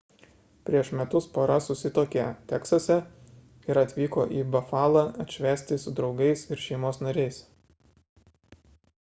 prieš metus pora susituokė teksase ir atvyko į bafalą atšvęsti su draugais ir šeimos nariais